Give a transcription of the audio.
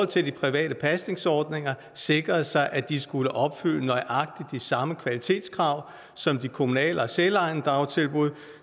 til private pasningsordninger sikrede sig at de skulle opfylde nøjagtig de samme kvalitetskrav som de kommunale og selvejende dagtilbud